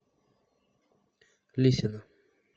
лисина